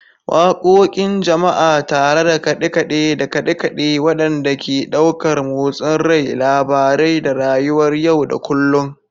Waƙoƙin Jama'a tare da kaɗe-kaɗe da kaɗe-kaɗe waɗanda ke ɗaukar motsin rai, labarai, da rayuwar yau da kullun.